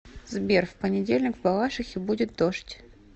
сбер в понедельник в балашихе будет дождь